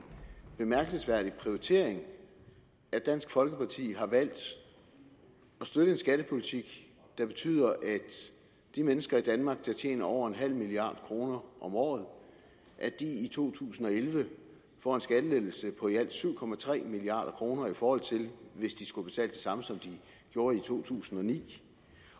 bemærkelsesværdig prioritering at dansk folkeparti har valgt at støtte en skattepolitik der betyder at de mennesker i danmark der tjener over nul milliard kroner om året i to tusind og elleve får en skattelettelse på i alt syv milliard kroner i forhold til hvis de skulle betale det samme som de gjorde i to tusind og ni